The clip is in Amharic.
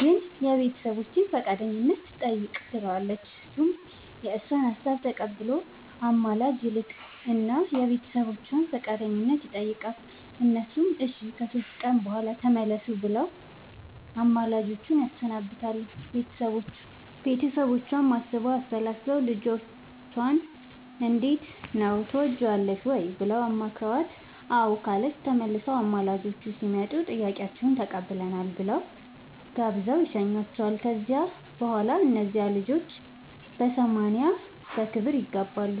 ግን የቤተሰቦቼን ፈቃደኝነት ጠይቅ ትለዋለች እሱም የእሷን ሀሳብ ተቀብሎ አማላጅ ይልክ እና የቤተሰቦቿን ፈቃደኝነት ይጠይቃል እነሱም እሺ ከሶስት ቀን በኋላ ተመለሱ ብለው አማላጆቹን ያሰናብታሉ ቤተሰቦቿም አስበው አሠላስለው ልጅቷንም እንዴት ነው ትወጅዋለሽ ወይ ብለው አማክረዋት አዎ ካለቻቸው ተመልሰው አማላጆቹ ሲመጡ ጥያቄያችሁን ተቀብለናል ብለው ጋብዘው ይሸኙዋቸዋል ከዚያ በኋላ እነዚያ ልጆች በሰማንያ በክብር ይጋባሉ።